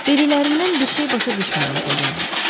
Dediklərindən bir şey başa düşmürəm, Poliana.